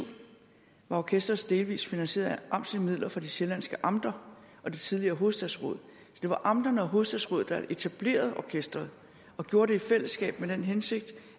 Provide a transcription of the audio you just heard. var orkesteret delvis finansieret af amtslige midler fra de sjællandske amter og det tidligere hovedstadsråd det var amterne og hovedstadsrådet der etablerede orkesteret og gjorde det i fællesskab med den hensigt